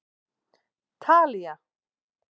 Talía